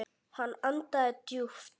Hann andaði djúpt.